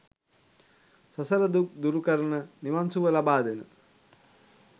සසර දුක් දුරු කරන, නිවන් සුව ලබාදෙන